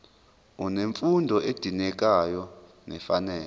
unemfundo edingekayo nefanele